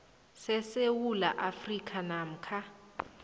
sesewula afrika namkha